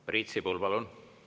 Priit Sibul, palun!